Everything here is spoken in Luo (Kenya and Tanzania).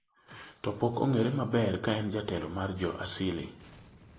to pok ong'ere maber ka en jatelo mar jo Asili